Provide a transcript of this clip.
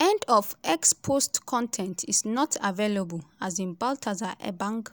end of x post con ten t is not available um baltasar ebang